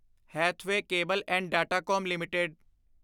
Hathway Cable and Datacom LTD